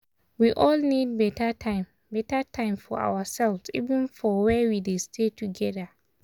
we all need beta time beta time for ourselves even for where we dey stay together.